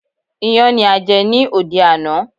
Iyán ni a jẹ ní òde àná.